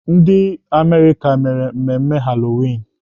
Ndị Amerịka mere mmemme Halloween.